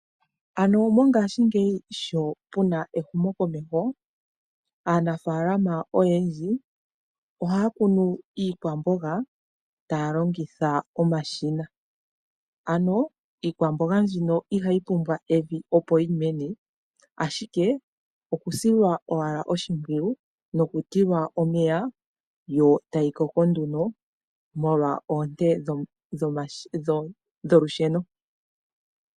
Ano mongashiingeyi sho pu na ehumukomeho, aanafalama oyendji ohaya kunu iikwamboga taya longitha omashina, ano iikwamboga mbino ihayi pumbwa evi opo yi mene, ashike okusilwa owala oshipwiyu nokutilwa omeya yo tayi koko nduno molwa oonte dholusheno.